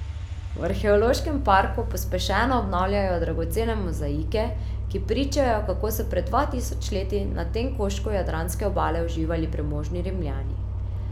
V arheološkem parku pospešeno obnavljajo dragocene mozaike, ki pričajo, kako so pred dva tisoč leti na tem koščku jadranske obale uživali premožni Rimljani.